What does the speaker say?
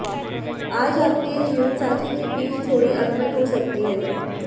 आज आपके जीवनसाथी के बीच थोड़ी अनबन हो सकती है